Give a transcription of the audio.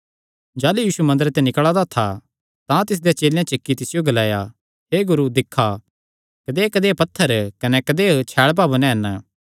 जाह़लू यीशु मंदरे ते निकल़ा दा था तां तिसदे चेलेयां च इक्की तिसियो ग्लाया हे गुरू दिक्खा कदेयकदेय पत्थर कने कदेय छैल़ भवन हन